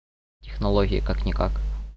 технологии как никак